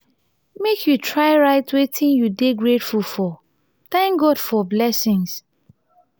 make you try write wetin you dey grateful for thank god for blessings.